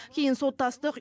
кейін соттастық